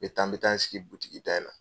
N bɛ taa n bɛ taa n sigi butigi da in na.